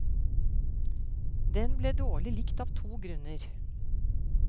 Den ble dårlig likt av to grunner.